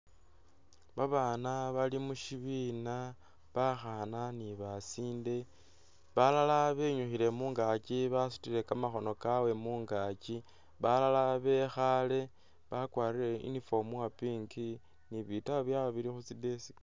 Babana bali mushibina bakhana ni'basoleli balala benyukhile mungaaki basutile kamakhono kyabwe mungaaki balala bekhale bakwarile uniform wa'pink ni bitabu byabwe bili khutsi desk